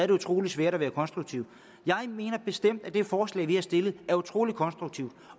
det utrolig svært at være konstruktiv jeg mener bestemt at det forslag vi har stillet er utrolig konstruktivt